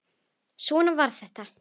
Svona var þetta.